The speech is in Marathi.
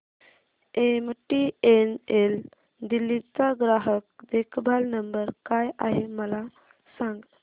एमटीएनएल दिल्ली चा ग्राहक देखभाल नंबर काय आहे मला सांग